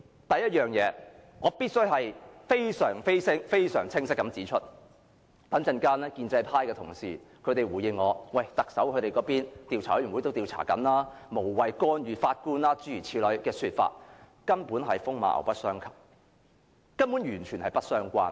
第一，我必須非常清晰地指出，稍後建制派同事如回應時說，特首已成立調查委員會，因此無謂干預法官的工作，這說法根本是風馬牛不相及，完全不相關。